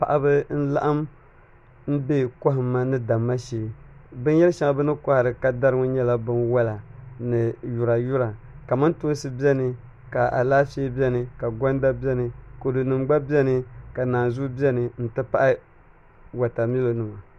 Paɣaba n laɣam n bɛ kohamma ni damma shee bin yɛri shɛŋa bini kohari ka dari ŋo nyɛla bin wola ni yura yura kamantoosi biɛni ka Alaafee biɛni ka gonda biɛni kodu nim gba biɛni ni naanzuwa n ti pahi wotamilo nima